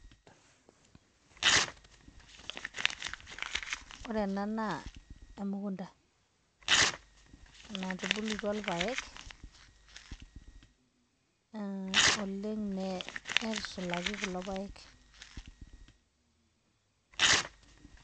ore ena naa emukunta natubulutua irpaek oleng neitushulaki kulo paek